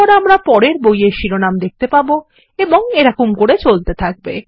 তারপর আমরা পরের বইয়ের শিরোনাম দেখতে পাবো এবং এরকম করেচলতে থাকবে